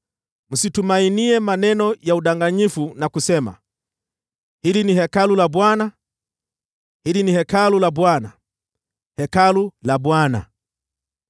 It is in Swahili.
Msitumainie maneno ya udanganyifu na kusema, “Hili ni Hekalu la Bwana , Hekalu la Bwana , Hekalu la Bwana !”